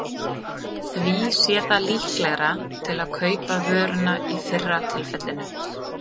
Því sé það líklegra til að kaupa vöruna í fyrra tilfellinu.